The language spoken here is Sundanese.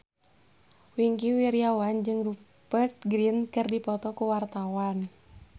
Wingky Wiryawan jeung Rupert Grin keur dipoto ku wartawan